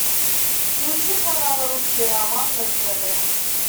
включи канал русский роман на тв